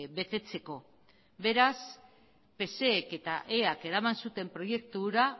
betetzeko beraz pseek eta eak eraman zuten proiektu hura